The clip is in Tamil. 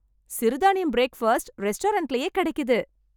சிறுதானியம் பிரேக்பாஸ்ட் ரெஸ்டாரண்ட்லயே கிடைக்குது.